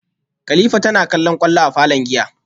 kilifa tana kallon kwallo a falon giya